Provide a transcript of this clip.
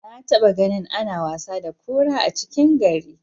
Na taba ganin ana wasa da kura a cikin gari.